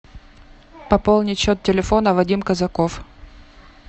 пополнить счет телефона вадим казаков